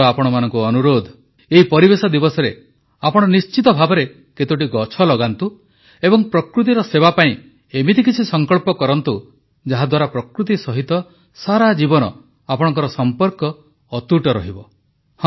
ମୋର ଆପଣମାନଙ୍କୁ ଅନୁରୋଧ ଏହି ପରିବେଶ ଦିବସରେ ଆପଣ ନିଶ୍ଚିତ ଭାବରେ କେତୋଟି ଗଛ ଲଗାନ୍ତୁ ଏବଂ ପ୍ରକୃତିର ସେବା ପାଇଁ ଏମିତି କିଛି ସଂକଳ୍ପ କରନ୍ତୁ ଯାହାଦ୍ୱାରା ପ୍ରକୃତି ସହିତ ସାରାଜୀବନ ଆପଣଙ୍କର ସଂପର୍କ ଅତୁଟ ରହିବ